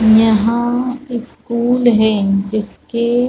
यहाँ स्कूल है जिसके --